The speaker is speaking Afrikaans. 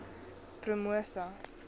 promosa